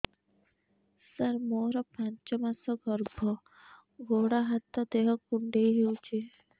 ସାର ମୋର ପାଞ୍ଚ ମାସ ଗର୍ଭ ଗୋଡ ହାତ ଦେହ କୁଣ୍ଡେଇ ହେଉଛି